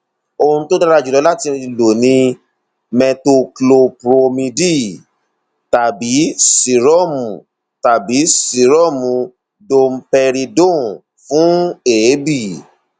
ohun tó dára jùlọ láti lò ni metoclopromide tàbí sírọọmù tàbí sírọọmù domperidone fún èébì